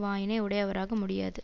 வாயினை உடையவராக முடியாது